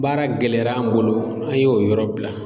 Baara gɛlɛyara an' bolo, an y'o yɔrɔ bila.